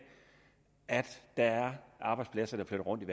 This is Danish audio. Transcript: at der er arbejdspladser der flytter rundt i